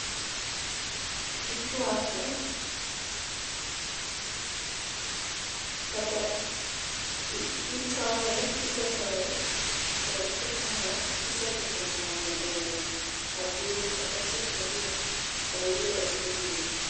Ichuake, kata itoye kisetoye to iketo mo kiseketo mo e agulu kata sufuria to iole kuro.